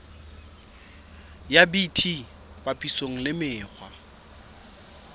ya bt papisong le mekgwa